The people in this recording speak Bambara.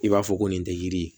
I b'a fɔ ko nin tɛ yiri ye